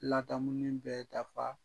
Ladamuni bɛ dafa